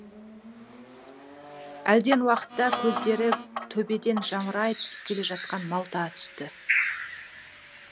әлден уақытта көздері төбеден жамырай түсіп келе жатқан малта түсті